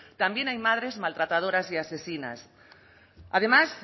también hay madres maltratadoras y asesinas además